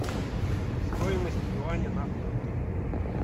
стоимость юаня на фунты